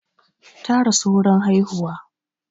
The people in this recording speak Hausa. Ta rasu wurin haihuwa